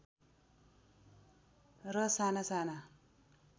र साना साना